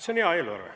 See on hea eelarve.